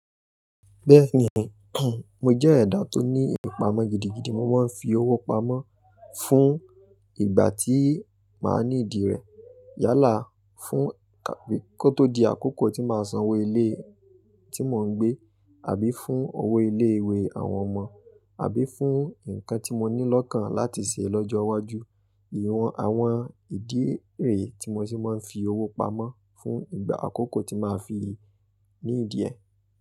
Bẹ́ẹ̀ni, mo jẹ́ ẹ̀dà tó ní ìpamọ́ gidigidi, mo máa ń fi owó pamọ́ fún ìgbà tí màá ní ìdí rẹ, yálà fún ká pé kó tó di àkókò tí màá san owó ilé tí mò ń gbé àbí fún owó ilé ìwé àwọn ọmọ àbí fún nǹkan tí mo ní lọ́kàn láti ṣe lọ́jọ́ iwájú. Iwọn àwọn ìdí rẹ tí mo sì máa ń fi owó pamọ́ fún ìgbà àkókò tí màá fi ní dí rẹ̀.